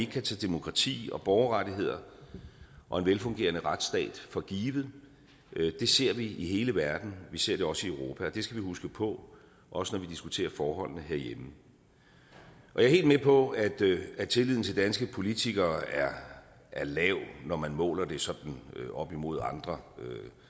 kan tage demokrati og borgerrettigheder og en velfungerende retsstat for givet det ser vi i hele verden vi ser det også i europa og det skal vi huske på også når vi diskuterer forholdene herhjemme jeg er helt med på at at tilliden til danske politikere er lav når man måler det sådan op imod andre